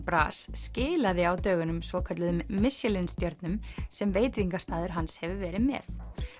bras skilaði á dögunum svokölluðum Michelin stjörnum sem veitingastaður hans hefur verið með